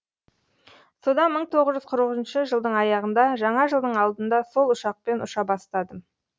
содан мың тоғыз жүз қырық үшінші жылдың аяғында жаңа жылдың алдында сол ұшақпен ұша бастадым